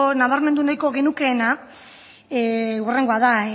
nabarmendu nahiko genukeena hurrengoa da